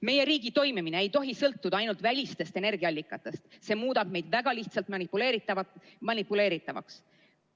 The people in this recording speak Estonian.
Meie riigi toimimine ei tohi sõltuda ainult välistest energiaallikatest, see muudab meid väga lihtsalt manipuleeritavaks.